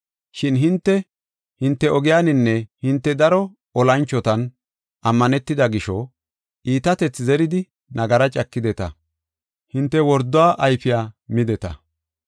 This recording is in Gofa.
Shin hinte, hinte ogiyaninne hinte daro olanchotan ammanetida gisho, iitatethi zeridi nagaraa cakideta; hinte worduwa ayfiya mideta.